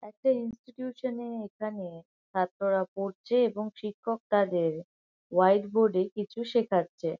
একটা ইনস্টিটিউশন -এ এখানে ছাত্ররা পড়ছে এবং শিক্ষক তাদের হোয়াইট বোর্ড -এ কিছু শেখাচ্ছে।